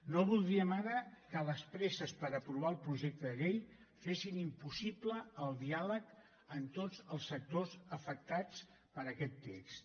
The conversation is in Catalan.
no voldríem ara que les presses per aprovar el projecte de llei fessin impossible el diàleg amb tots els sectors afectats per aquest text